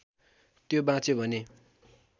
त्यो बाँच्यो भने